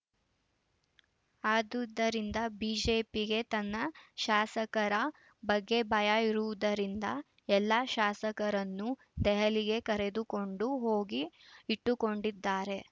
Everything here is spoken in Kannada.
ಅದುದರಿಂದ ಬಿಜೆಪಿಗೆ ತನ್ನ ಶಾಸಕರ ಬಗ್ಗೆ ಭಯ ಇರುವುದರಿಂದ ಎಲ್ಲ ಶಾಸಕರನ್ನು ದೆಹಲಿಗೆ ಕರೆದುಕೊಂಡು ಹೋಗಿ ಇಟ್ಟುಕೊಂಡಿದ್ದಾರೆ